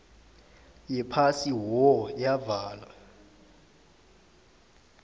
yephasi who yavala